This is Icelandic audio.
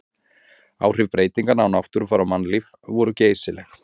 Áhrif breytinganna á náttúrufar og mannlíf voru geysileg.